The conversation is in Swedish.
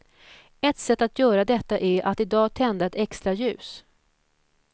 Ett sätt att göra detta är att i dag tända ett extra ljus.